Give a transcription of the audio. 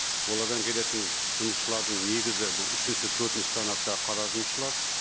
олардан келетін жұмысшылардың негізі бұл үшінші төртінші санатта қара жұмысшылар